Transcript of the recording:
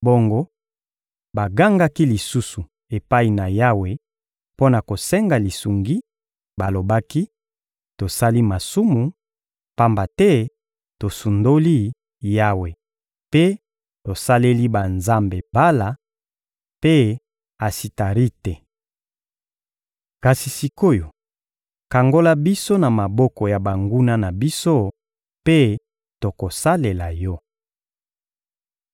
Bongo bagangaki lisusu epai na Yawe mpo na kosenga lisungi; balobaki: «Tosali masumu, pamba te tosundoli Yawe mpe tosaleli banzambe Bala mpe Asitarite. Kasi sik’oyo, kangola biso na maboko ya banguna na biso, mpe tokosalela Yo.»